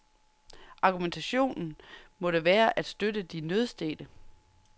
Argumentationen måtte være at støtte de nødstedte.